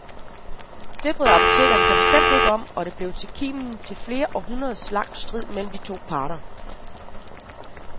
Det brød apotekerne sig bestemt ikke om, og det blev kimen til en flere århundreder lang strid mellem de to parter.